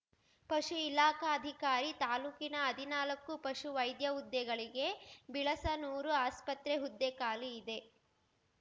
ಪಶು ಇಲಾಖಾಧಿಕಾರಿ ತಾಲೂಕಿನ ಹದಿನಾಲಕ್ಕು ಪಶು ವೈದ್ಯ ಹುದ್ದೆಗಳಿಗೆ ಬಿಳಸನೂರು ಆಸ್ಪತ್ರೆ ಹುದ್ದೆ ಖಾಲಿ ಇದೆ